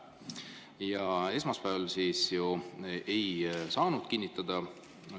Aga esmaspäeval ei saanud tööplaan, päevakord kinnitatud.